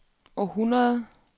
århundrede